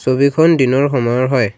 ছবিখন দিনৰ সময়ৰ হয়।